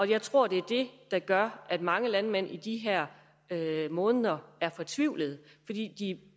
jeg tror det er det der gør at mange landmænd i de her måneder er fortvivlede fordi de